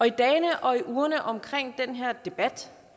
i dagene og ugerne omkring den her debat